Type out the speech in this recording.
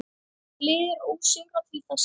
Liðið er ósigrað til þessa.